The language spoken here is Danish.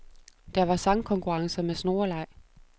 Der var sangkonkurrencer med snoreleg.